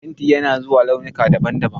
Fenti yana zuwa a launuka daban-daban.